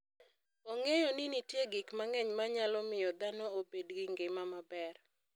Ong'eyo ni nitie gik mang'eny manyalo miyo dhano obed gi ngima maber.